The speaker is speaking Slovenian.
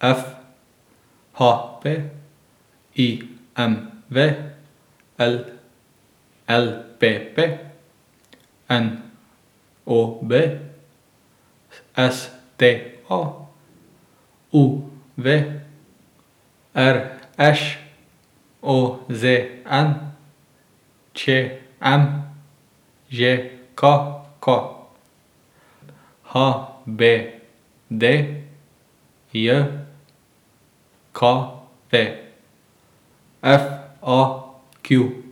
F; H P; I M V; L L P P; N O B; S T A; U V; R Š; O Z N; Č M; Ž K K; H B D J K V; F A Q.